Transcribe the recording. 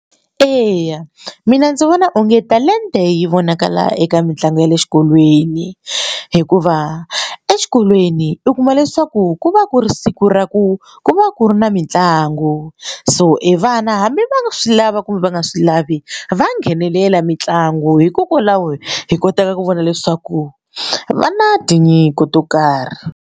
Eya mina ndzi vona onge talenta yi vonakala eka mitlangu ya le xikolweni hikuva exikolweni u kuma leswaku ku va ku ri siku ra ku ku va ku ri na mitlangu so e vana hambi va nga swi lava kumbe va nga swi lavi va nghenelela mitlangu hikokwalaho hi kotaka ku vona leswaku va na tinyiko to karhi.